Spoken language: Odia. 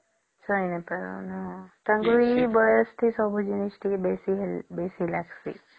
ସହି ନାଇଁ ପରିବାର ତାଙ୍କର ତ ବୟସ ଟେ ସବୁ ଜିନିଷ ତ ବେଶୀ ଲାଗିଁସି